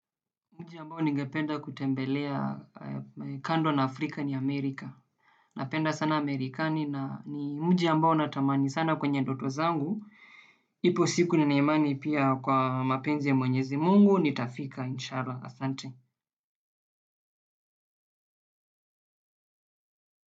Nchi ambayo ningependa kutembelea kando na Afrika ni Amerika. Napenda sana Amerikani na ni mji ambao natamani sana kwenye ndoto zangu. Ipo siku nina imani pia kwa mapenzi ya mwenyezi Mungu. Nitafika inshallah.